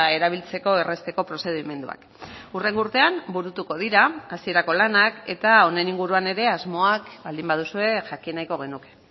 erabiltzeko errazteko prozedimenduak hurrengo urtean burutuko dira hasierako lanak eta honen inguruan ere asmoak baldin baduzue jakin nahiko genuke